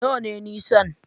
Nawa ne nisan?